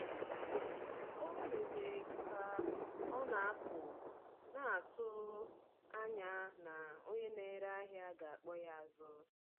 Ọ mere ka ọ na-apụ, na-atụ anya na onye na-ere ahịa ga-akpọ ya azụ.